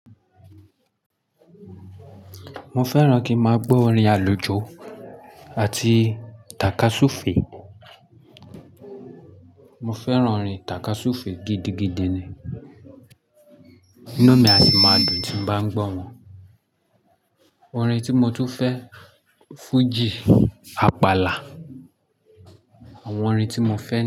Mo fẹ́ràn kí n máa gbọ́ orin àlùjó àti takasufe. Mo fẹ́ràn orin takasufe gidigidi ni. Inú mi a sì máa dùn tí n bá ń gbọ́ wọn. Orin tí mo tún fẹ́, fújì, àpàlà. Àwọn orin tí mo fẹ́